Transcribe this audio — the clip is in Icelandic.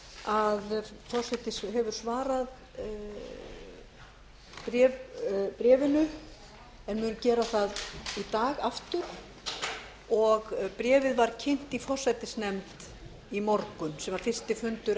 að forseti hefur svarað bréfinu en mun gera það í dag aftur og bréfið var kynnt í forsætisnefnd í morgun sem var fyrsti fundur